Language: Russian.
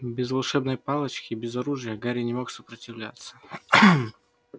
без волшебной палочки без оружия гарри не мог сопротивляться